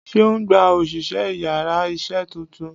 seun gbá osìsé íyarà iṣẹ túntún